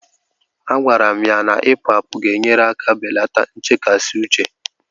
Agwara m ya na Ipu àpu ga-enyere aka belata nchekasị uche